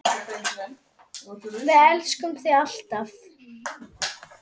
Við elskum þig, alltaf.